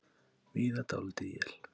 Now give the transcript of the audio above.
Víða dálítil él